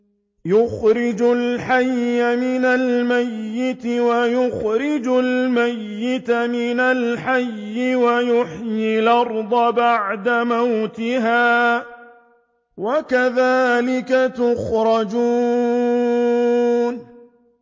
يُخْرِجُ الْحَيَّ مِنَ الْمَيِّتِ وَيُخْرِجُ الْمَيِّتَ مِنَ الْحَيِّ وَيُحْيِي الْأَرْضَ بَعْدَ مَوْتِهَا ۚ وَكَذَٰلِكَ تُخْرَجُونَ